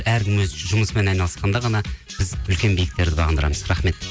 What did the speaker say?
әркім өз жұмысымен айналысқанда ғана біз үлкен биіктерді бағындырамыз рахмет